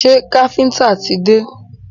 Ṣé káfíńńtà ti dé?